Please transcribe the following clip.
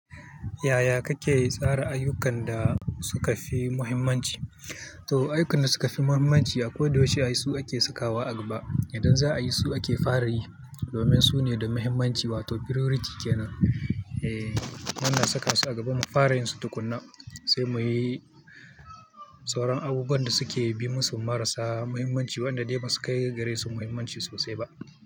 Yaya kake tsara ayyukan da suka fi muhimmanci? To ayyukan da suka fi muhimmanci akoda yaushe ai su akafi sakawa a gaba. Idan za a yi su ake fara yi domin su ne da muhimmanci wato priority kenan. Eeh, wannan saka su a gaba mu fara yin su tukuna sai muyi sauran abubuwan da suke bi musu marasa muhimmanci waɗanda dai ba su kai gare su muhimmanci sosai ba.